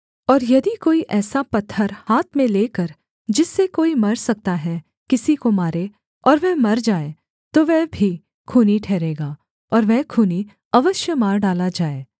और यदि कोई ऐसा पत्थर हाथ में लेकर जिससे कोई मर सकता है किसी को मारे और वह मर जाए तो वह भी खूनी ठहरेगा और वह खूनी अवश्य मार डाला जाए